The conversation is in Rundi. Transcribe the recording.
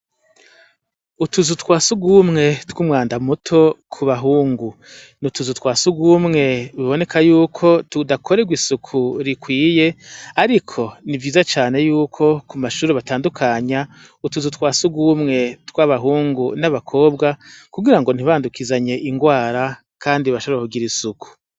utuzu twasugumwe tw'umwanda muto ku bahungu ni utuzu twasugumwe biboneka yuko tudakorewa isuku rikwiye ariko ni vyiza cane yuko ku mashure batandukanya utuzu twasugumwe tw'abahungu n'abakobwa kugira ngo ntibandukizanye ingwara kandi bashobore kugira isuku